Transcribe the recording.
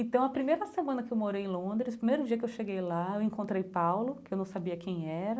Então, a primeira semana que eu morei em Londres, o primeiro dia que eu cheguei lá, eu encontrei Paulo, que eu não sabia quem era